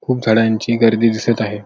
खूप झाडांची गर्दी दिसत आहे.